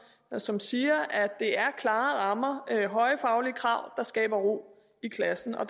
som siger at det er klare rammer høje faglige krav der skaber ro i klassen og